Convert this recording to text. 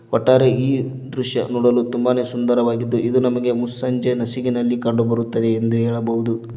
ಒಟ್ಟಾರೆಯಾಗಿ ಈ ದೃಶ್ಯ ನೋಡಲು ತುಂಬಾನೇ ಸುಂದರವಾಗಿದ್ದು ಇದು ನಮಗೆ ಮುಸ್ಸಂಜೆ ನಸುಕಿನಲ್ಲಿ ಕಂಡುಬರುತ್ತದೆ ಎಂದು ಹೇಳಬಹುದು.